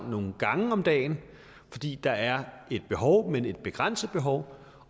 nogle gange om dagen fordi der er et behov men et begrænset behov